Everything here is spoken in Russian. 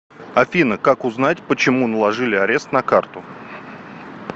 афина как узнать почему наложили арест на карту